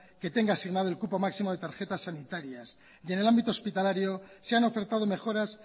que tenga asignado el cupo máximo de tarjetas sanitarias y en el ámbito hospitalario se han ofertado mejoras